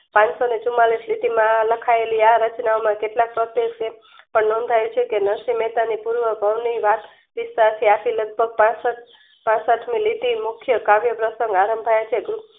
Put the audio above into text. પાનસોને ચુમાંલીશ માં આ લખાયેલી આ રચનાઓમાં કેટલાક પ્રત્યોક્સે કલમ કહે છેકે નરસિંહ મેહતાની તુલન ભાવની રાત સીસાથે આપી લગભગ પાષ્ટ પાષ્ટ મી લીટી મુખ્ય કાવ્ય પ્રશ્નગ આરંભાયે છે.